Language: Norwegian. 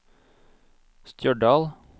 Stjørdal